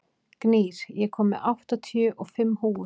Gnýr, ég kom með áttatíu og fimm húfur!